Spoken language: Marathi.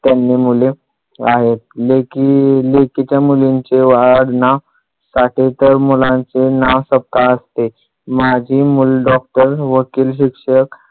त्यांनी मुले आहेत लेकी लेकीच्या मुलींचे आडनाव टाकले तर मुलांचे नाव सपकाळ असते माझी मुल डॉक्टर वकील शिक्षक